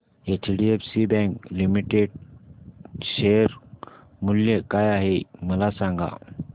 HDFC bank limited share मूल्य काय आहे मला सांगा